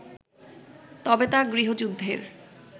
তবে তা গৃহযুদ্ধের